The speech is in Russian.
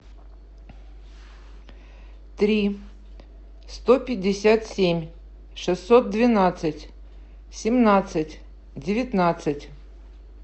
три сто пятьдесят семь шестьсот двенадцать семнадцать девятнадцать